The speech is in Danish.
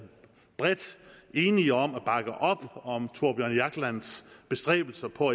bredt enige om at bakke op om thorbjørn jaglands bestræbelser på